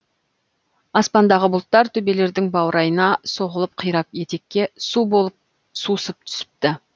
аспандағы бұлттар төбелердің баурайына соғылып қирап етекке су болып сусып түсіпті